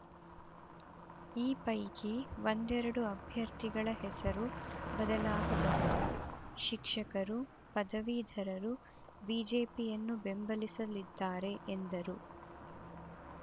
ಈ ಪೈಕಿ ಒಂದೆರಡು ಅಭ್ಯರ್ಥಿಗಳ ಹೆಸರು ಬದಲಾಗಬಹುದು ಶಿಕ್ಷಕರು ಪದವೀಧರರು ಬಿಜೆಪಿಯನ್ನು ಬೆಂಬಲಿಸಲಿದ್ದಾರೆ ಎಂದರು